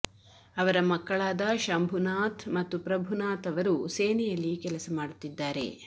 ಅವರ ಮಕ್ಕಳಾದ ಶಂಭುನಾಥ್ ಮತ್ತು ಪ್ರಭುನಾಥ್ ಅವರು ಸೇನೆಯಲ್ಲಿ ಕೆಲಸ ಮಾಡುತ್ತಿದ್ದಾರೆ